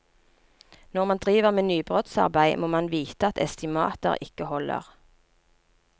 Når man driver med nybrottsarbeid, må man vite at estimater ikke holder.